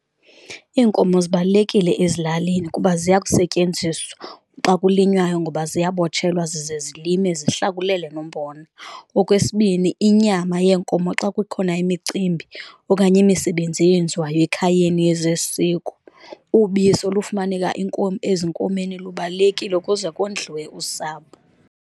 Iinkomo zibalulekile ezilalini kuba ziyakusetyenziswa xa kulinywayo ngoba ziyabotshelwa zize zilime zihlakulele nombona. Okwesibini, inyama yenkomo xa kukhona imicimbi okanye imisebenzi eyenziwayo ekhayeni yezesiko, ubisi olufumaneka ezinkomeni lubalulekile ukuze kondliwe usapho.